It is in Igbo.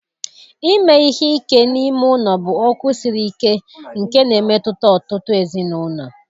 ime ihe ike n'ime ụlọ bụ okwu siri ike nke na-emetụta ọtụtụ ezinụlọ.